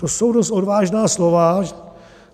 To jsou dost odvážná slova.